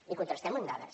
i contrastem ho amb dades